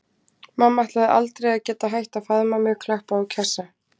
Mamma ætlaði aldrei að geta hætt að faðma mig, klappa og kjassa.